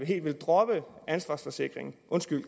helt vil droppe kaskoforsikringen